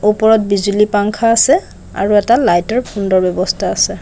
ওপৰত বিজুলী পাংখা আছে আৰু এটা লাইটৰ সুন্দৰ ব্যৱস্থা আছে।